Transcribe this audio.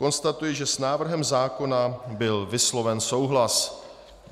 Konstatuji, že s návrhem zákona byl vysloven souhlas.